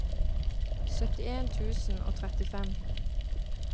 syttien tusen og trettifem